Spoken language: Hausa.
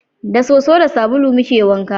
Da soso da sabulu muke wanka